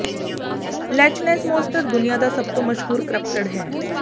latch ness monster ਦੁਨੀਆ ਦਾ ਸਭ ਤੋਂ ਮਸ਼ਹੂਰ ਕ੍ਰਿਪਟਿਡ ਹੈ